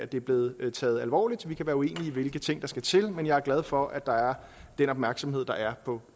det er blevet taget alvorligt vi kan være uenige i hvilke ting der skal til men jeg er glad for at der er den opmærksomhed som der er på